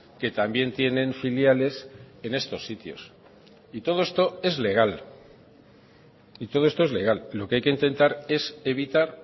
que también tienen filiales en estos sitios y todo esto es legal y todo esto es legal lo que hay que intentar es evitar